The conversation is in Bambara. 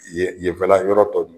Yen yenfɛla yɔrɔ tɔ ninnu